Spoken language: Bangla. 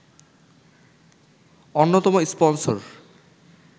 অন্যতম স্পন্সর